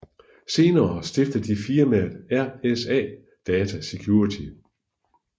Senere stiftede de firmaet RSA Data Security